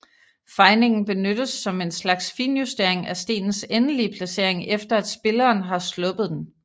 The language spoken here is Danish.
Fejningen benyttes som en slags finjustering af stenens endelige placering efter at spilleren har sluppet den